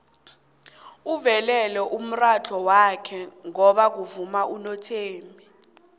uvulele umurhatjho wakhe ngoba kuvuma unothembi